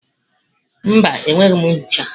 Mba, enweghị m nchicha.